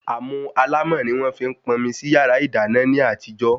Àmù alámọ̀ ni wọ́n fi ń pọnmi sí yàrá ìdáná ní àtijọ́